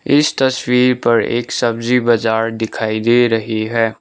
इस तस्वीर पर एक सब्जी बाजार दिखाई दे रही है।